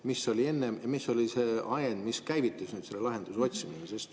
Kuidas oli enne ja mis oli nüüd see ajend, mis käivitas selle lahenduse otsimise?